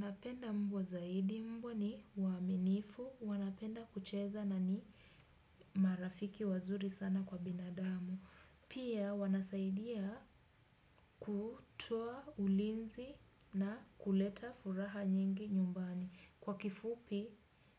Napenda mbwa zaidi mbwa ni uaminifu, wanapenda kucheza na ni marafiki wazuri sana kwa binadamu. Pia wanasaidia kutoa ulinzi na kuleta furaha nyingi nyumbani. Kwa kifupi,